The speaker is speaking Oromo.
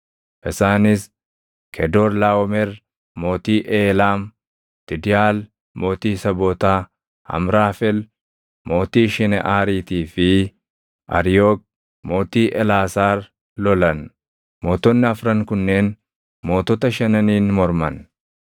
Isaanis Kedoorlaaʼomer mootii Eelaam, Tidiʼaal mootii Sabootaa, Amraafel mootii Shineʼaariitii fi Ariyook mootii Elaasaar lolan; mootonni afran kunneen mootota shananiin morman.